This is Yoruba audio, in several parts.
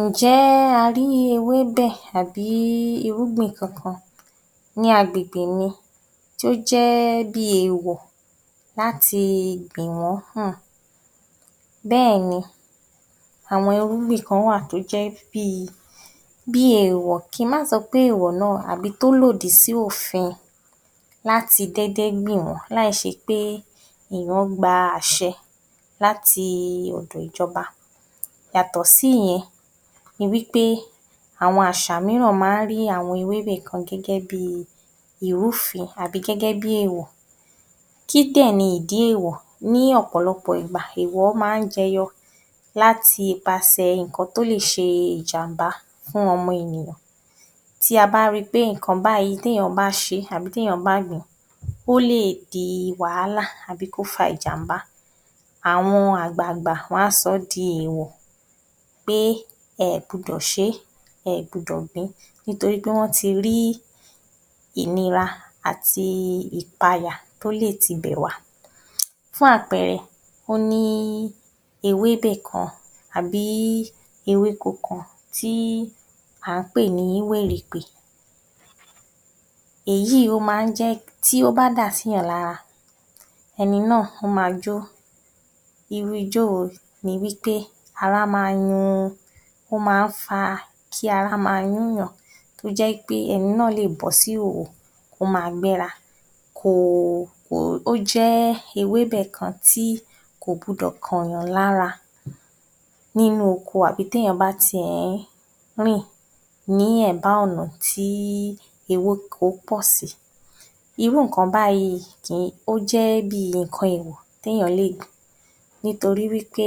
Ǹjẹ́ a rí ewébẹ̀ àbí irúgbìn kankan ní agbègbè mi tó jẹ́ bíi èèwọ̀ láti gbìn wọ́n um. Bẹ́ẹ̀ ni, àwọn irúgbìn kan wà tó jẹ́ bíi, bíi èèwọ̀ ki má sọ pé èèwọ̀ náà àbí tó lòdì sí òfin láti déédé gbìn wọ́n láìṣe pé èèyàn gba àṣẹ láti ọ̀dọ̀ ìjọba. Yàtọ̀ sí yẹn, ni wí pé àwọn àṣà míràn máa ń rí àwọn ewébẹ̀ kan gẹ́gẹ́ bíi ìrúfin àbí gẹ́gẹ́ bí èèwọ̀. Kí dẹ̀ ni ìdí èèwọ̀? Ní ọ̀pọ̀lọpọ̀ ìgbà, èèwọ̀ máa ń jẹyọ láti ipasẹ̀ ǹkan tó lè ṣe ìjàm̀bá fún ọmọ ènìyàn tí a bá ri pé ǹkan báyìí, téyàn bá ṣe é àbí téyàn bá gbìn ín, ó lè di wàhálà tàbí kó fa ìjàm̀bá, àwọn àgbààgbà wọ́n á sọ ọ́ di èèwọ̀ pé ẹ ẹ̀ gbúdọ̀ ṣe é; ẹ ẹ̀ gbudọ̀ gbìn ín nítorí pé wọ́n ti rí ìnira àti ìpayà tó lè tibẹ̀ wá. Fún àpẹẹrẹ, ó ní ewébẹ̀ kan àbí ewéko kan tí à ń pè ní wèrèpè. Èyí ó máa ń jẹ́, tí ó bá dà sí èèyàn lára, ẹni náà ó ma jó, irú ijó wo ni wí pé ara ma yun. Ó máa ń fa kí ara ma yún èyàn, tó jẹ́ wí pé ẹni náà lè bọ́ sí ìhòhò, ó ma gbéra ko, ó jẹ́ ewébẹ̀ kan tí kò gbudọ̀ kànyàn lára nínú oko àbí téèyàn bá tiẹ̀ ń rìn ní ẹ̀bá ọ̀nà tí ewéko bọ́ si. Irú ǹkan báyìí um ó jẹ́ bí ǹkan èèwọ̀ téèyàn lè nítorí wí pé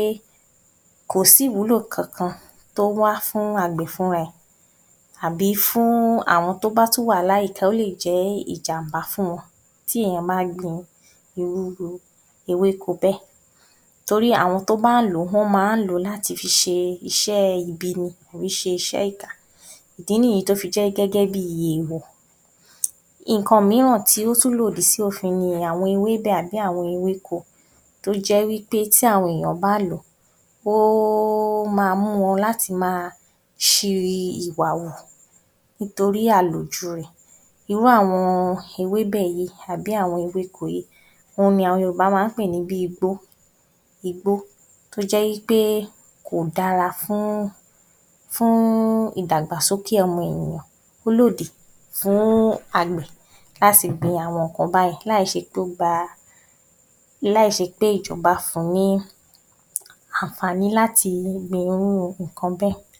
kò sí ìwúlò kankan tó wá fún àgbẹ̀ fúnra ẹ̀ àbí fún àwọn tó wà láyìíká ó lè jẹ́ ìjàm̀bá fún wọn tí èèyàn bá gbin irú ewéko bẹ́ẹ̀ torí àwọn tó bá ń lò ó, wọ́n máa ń lò ó láti fi ṣe iṣẹ́ ibi tàbí ṣe iṣẹ́ ìkà. Ìdí nìyí tó fi jẹ́ gẹ́gẹ́ bí èèwọ̀. Nǹkan mìíràn tó tún lòdì sí òfin ni àwọn ewébẹ̀ tàbí àwọn ewéko tó jẹ́ wí pé tí àwọn èèyàn bá lò ó, ó máa mú wọn láti máa ṣi ìwà hù nítorí àlòjù rẹ̀. Irú àwọn ewébẹ̀ yìí àbí àwọn ewéko yìí òhun ni àwọn Yorùbá máa ń pè ní bíi igbó, igbó tó jẹ́ wí pé kò dára fún, fún ìdàgbàsókè ọmọ ènìyàn. Ó lòdì fún àgbẹ̀ láti gbin àwọn ǹkan báyìí láìṣe pé ó gba, láìṣe pé ìjọba fun ní àǹfààní láti gbin irú ǹkan bẹ́ẹ̀.